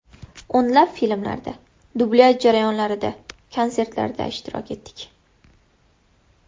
O‘nlab filmlarda, dublyaj jarayonlarida, konsertlarda ishtirok etdik.